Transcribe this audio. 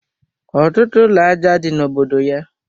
Ọtụtụ ụlọ aja dị na obodo ya